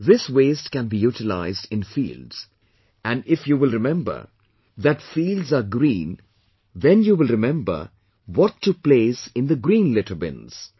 This waste can be utilized in fields, and if you will remember that fields are green then you will remember what to place in the green litter bins